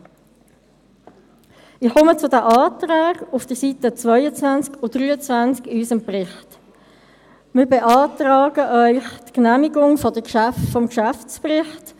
Wie aber legt man zum Beispiel den Wert eines alten Gebäudes fest, wie dasjenige, in dem wir uns jetzt befinden, nämlich das 600 Jahre alte Rathaus?